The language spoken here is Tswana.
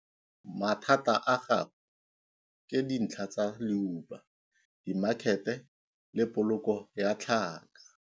Mathata a gagwe ke dintlha tsa leuba, dimakhete le poloko ya tlhaka.